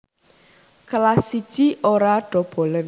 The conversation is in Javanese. Kelas I Ora dobolen